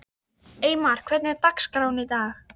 Eymar, hvernig er dagskráin í dag?